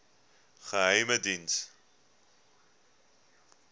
geheimediens